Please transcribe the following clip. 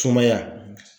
Sumaya